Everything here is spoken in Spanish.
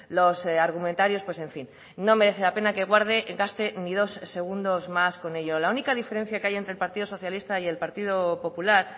los argumentarios pues en fin no merece la pena que guarde gaste ni dos segundos más con ello la única diferencia que hay entre el partido socialista y el partido popular